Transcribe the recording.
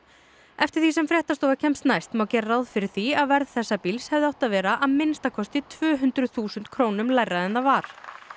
eftir því sem fréttastofa kemst næst má gera ráð fyrir því að verð þess bíls hefði átt að vera að minnsta kosti tvö hundruð þúsund krónum lægra en það var